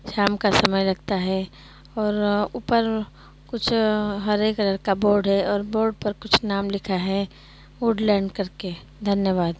शाम का समय लगता है और ऊपर कुछ हरे कलर का बोर्ड है और बोर्ड पर कुछ नाम लिखा है वुडलैंड करके धन्यवाद।